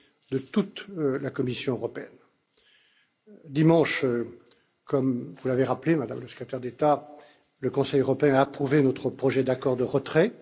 de toute la Commission européenne. Dimanche, comme vous l'avez rappelé, Madame la Secrétaire d'État, le Conseil européen a approuvé notre projet d'accord de retrait.